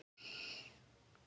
Dóttir þeirra er Íris.